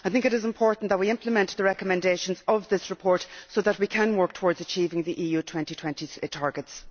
I think it is important that we implement the recommendations of this report so that we can work towards achieving the EU 2020 targets.